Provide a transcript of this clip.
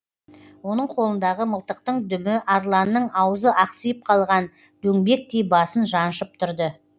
оның қолындағы мылтықтың дүмі арланның аузы ақсиып қалған дөңбектей басын жаншып тұрды